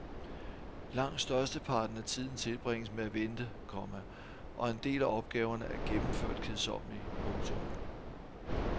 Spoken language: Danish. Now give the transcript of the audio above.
Langt størsteparten af tiden tilbringes med at vente, komma og en del af opgaverne er gennemført kedsommelige. punktum